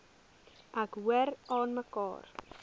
ek hoor aanmekaar